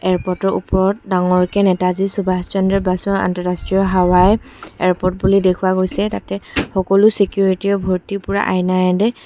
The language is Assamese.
এয়াৰপৰ্টৰ ওপৰত ডাঙৰকে নেতাজী সুভাসচন্দ্ৰ বাসু আন্তৰাষ্ট্ৰীয় হাৱাই এয়াৰপৰ্ট বুলি দেখুওৱা গৈছে তাতে সকলো চিকিউৰিটিৰে ভৰ্তি পুৰা আইনায়েদি--